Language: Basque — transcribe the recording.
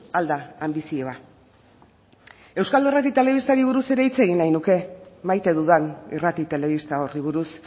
al da anbizioa euskal irrati eta telebistari buruz ere hitz egin nahi nuke maite dudan irrati telebista horri buruz